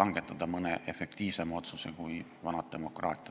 langetada mõne efektiivsema otsuse kui vanad demokraatiad.